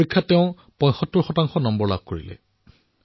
তেওঁ পৰীক্ষাত ৭৫ শতাংশ নম্বৰ লাভ কৰিলে